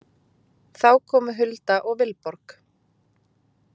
Þá komu Hulda og Vilborg.